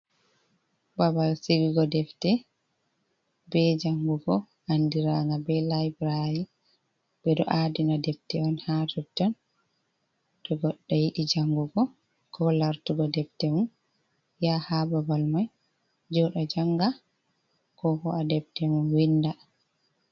Babal sigigo defte be janngugo, anndiraanga be layburari, ɓe ɗo aadina defte on haa totton, to goɗɗo yiɗi janngugo, ko laartugo defte mum, yaha haa babal may jooɗa jannga, ko ho'a defte mum winnda.